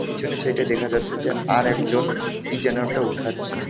পিছনের ছাইডে দেখা যাচ্ছে যে আর একজন কি যেন একটা উঠাচ্ছে .